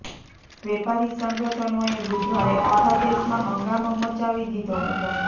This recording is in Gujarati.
વેપારી સંગઠનોએ બુધવારે આખા દેશમાં હંગામો મચાવી દીધો હતો